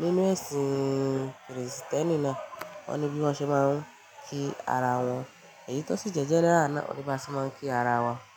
nínu ẹ̀sìn Kristẹni náà, o ní bí wọ́n ṣe máa ń kí ara wọn. Èyí tó sì jẹ́ jẹ́ náà ni a ní bí a ṣe máa ń kí ara wa.